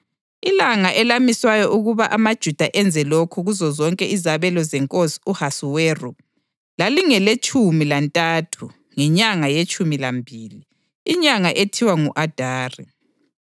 Ilanga elamiswayo ukuba amaJuda enze lokho kuzozonke izabelo zeNkosi u-Ahasuweru lalingeletshumi lantathu ngenyanga yetshumi lambili, inyanga ethiwa ngu-Adari.